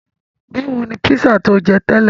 Báwo ni pízà tí o jẹ tẹ́lẹ̀?